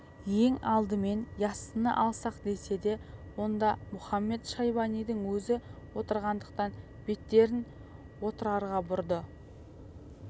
ең алдымен яссыны алсақ десе де онда мұхамед-шайбанидың өзі отырғандықтан беттерін отырарға бұрды